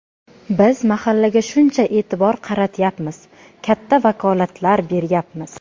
Biz mahallaga shuncha e’tibor qaratyapmiz, katta vakolatlar beryapmiz.